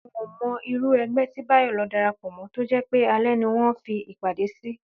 N ò mo̩ irú e̩gbé̩ tí Báyò̩ lo̩ darapò̩ mó̩ tó jé̩ pé alé̩ ni wó̩n ń fi ìpàdé sí